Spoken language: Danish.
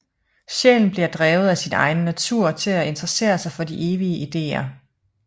Sjælen bliver drevet af sin egen natur til at interessere sig for de evige ideer